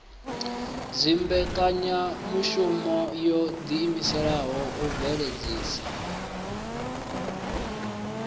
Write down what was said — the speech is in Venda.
dzimbekanyamushumo wo ḓiimisela u bveledzisa